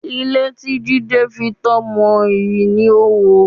Ilé tí Jídé fitọ́ mọ, ìrì ló wo